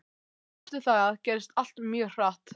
Eftir það gerðist allt mjög hratt.